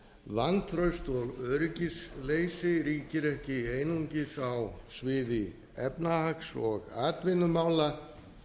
vantraust og öryggisleysi ríkir ekki einungis á sviði efnahags og atvinnumála